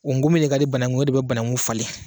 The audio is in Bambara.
O nkomin de ka di banakun ye, o de bɛ banaku falen.